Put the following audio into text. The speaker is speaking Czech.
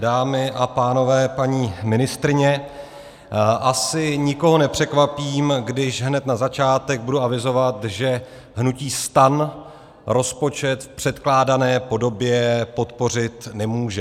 Dámy a pánové, paní ministryně, asi nikoho nepřekvapím, když hned na začátek budu avizovat, že hnutí STAN rozpočet v předkládané podobě podpořit nemůže.